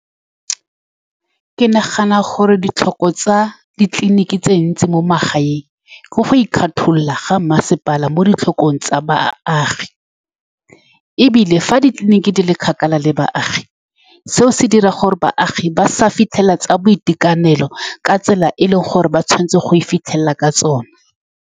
Ke nagana gore ditlhoko tsa ditleliniki tse dintsi mo magaeng ke go ikgetholola ga mmasepala mo ditlhokong tsa baagi. E bile, fa ditleliniki di le kgakala le baagi, seo se dira gore baagi ba sa fitlhelele tsa boitekanelo ka tsela e e leng gore ba tshwanetse go e fitlhelela ka tsone.